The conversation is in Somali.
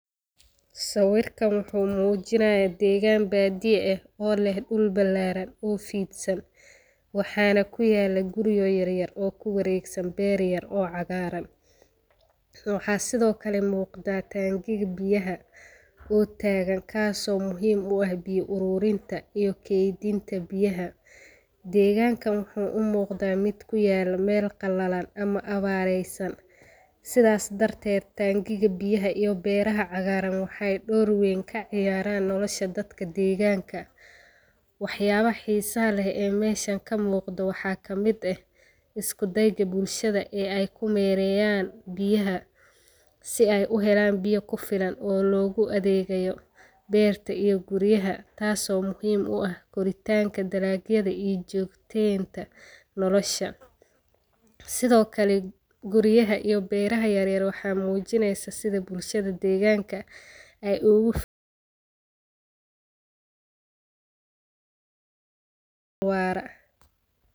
Sawirkan wuxuu muujinaya deegaan baadiya eh oo leh dhul balaaran oo fiidsan waxaana kuyaalo guri yaryar oo kuwareegsan beer yar oo cagaaran waxaa sido kale muuqda taankiga biyaha oo taagan kaaso muhiim u ah biyo aruurinta iyo keydinta deegankan wuxuu umuuqda mid kuyaala meel qalalan ama abaareysan sidaas darteed taankiga biyaha iyo beeraha cagaaran wxee door weyn ka ciyaaran nolasha dadka deeganka waxa yaabaha xiisaha leh ee meeshan ka muuqda waxaa kamid eh isku deyda bulshada ee ay kumeereyaan biyaha si ay uhelaan biya kufilan oo loogu adeegayo beerta iyo guriyaha taaso muiim u ah koritaanka dalagyada iyo joogteenka nolosha sidoo kale guriyaha iyo beeraha yaryar waxa muujineysa sida bulshada deegaanka ay ugu fikirayaan nolol waara.